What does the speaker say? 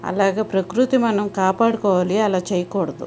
అలాగా ప్రకృతిని మనము కాపాడుకోవాలి అలాగా చేయకూడదు.